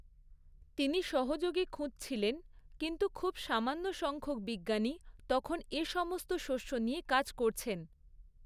তিনি সহযোগী খুঁজছিলেন, কিন্তু খুব সামান্য সংখ্যক বিজ্ঞানী তখন এসমস্ত শস্য নিয়ে কাজ করছেন।